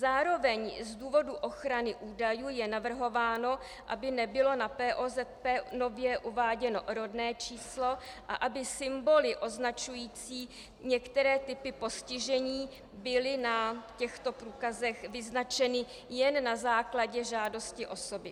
Zároveň z důvodů ochrany údajů je navrhováno, aby nebylo na POZP nově uváděno rodné číslo a aby symboly označující některé typy postižení byly na těchto průkazech vyznačeny jen na základě žádosti osoby.